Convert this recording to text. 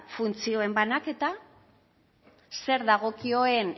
funtzioen banaketa zer dagokion